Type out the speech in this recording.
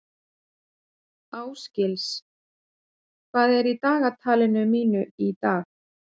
Ásgils, hvað er í dagatalinu mínu í dag?